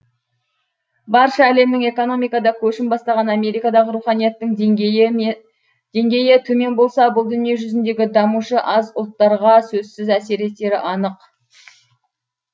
барша әлемнің экономикада көшін бастаған америкадағы руханияттың деңгейі төмен болса бұл дүние жүзіндегі дамушы аз ұлттарға сөзсіз әсер етері анық